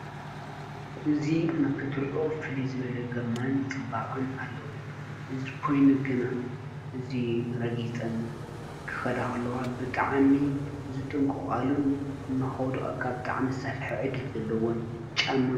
እዚ ንኽትሪኦ ፍልይ ዘበለ ግርማን ፅባቐን ኣለዎ፡፡ ኮይኑ ግና እዚ ረጊፀን ክኸዳ ከለዋ ብጣዕሚ ዝጥንቀቓሉን ንኸውድቐካ ብጣዕሚ ዝሰፈሐ ዕድል ዘለዎን ጫማ እዩ፡፡